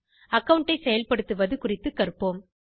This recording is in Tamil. அகாவுண்ட் ஐ செயல்படுத்துவது குறித்துக் கற்போம்